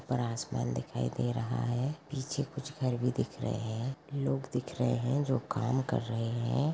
ऊपर आसमान दिखाई दे रहा है पीछे कुछ घर भी दिख रहे है लोग दिख रहे है जो काम कर रहे है।